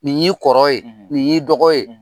Nin y'i kɔrɔ ye nin y'i dɔgɔ ye